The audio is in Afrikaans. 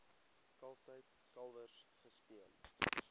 kalftyd kalwers gespeen